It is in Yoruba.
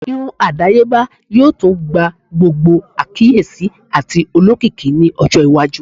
Irun irun adayeba yoo tun gba gbogbo akiyesi ati olokiki ni ọjọ iwaju